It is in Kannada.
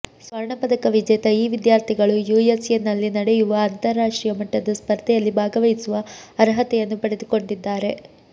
ಸ್ವರ್ಣ ಪದಕ ವಿಜೇತ ಈ ವಿದ್ಯಾರ್ಥಿಗಳು ಯುಎಸ್ಎನಲ್ಲಿ ನಡೆಯುವ ಅಂತಾರಾಷ್ಟ್ರೀಯ ಮಟ್ಟದ ಸ್ಪರ್ಧೆಯಲ್ಲಿ ಭಾಗವಹಿಸುವ ಅರ್ಹತೆಯನ್ನು ಪಡೆದುಕೊಂಡಿದ್ದಾರೆ